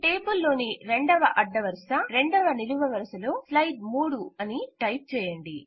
table లోని 2వ అడ్డవరుస 2వ నిలువ వరుసలో స్లైడ్ ౩ అని టైప్ చేయండి